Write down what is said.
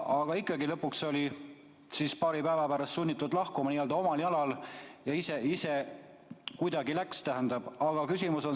Aga ikkagi, lõpuks oli ta paari päeva pärast sunnitud lahkuma omal jalal ja ise ta kuidagi ka läks.